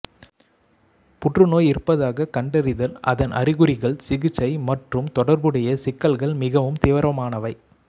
புற்றுநோய் இருப்பதாக கண்டறிதல் அதன் அறிகுறிகள் சிகிச்சை மற்றும் தொடர்புடைய சிக்கல்கள் மிகவும் தீவிரமானவை